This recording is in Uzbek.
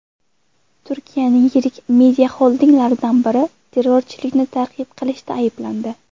Turkiyaning yirik mediaxoldinglaridan biri terrorchilikni targ‘ib qilishda ayblandi.